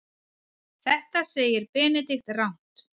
Þetta segir Benedikt rangt.